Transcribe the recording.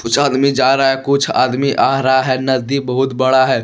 कुछ आदमी जा रहा है कुछ आदमी आ रहा है नदी बहुत बड़ा है।